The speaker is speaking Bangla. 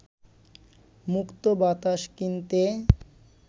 মুক্ত বাতাস কিনতে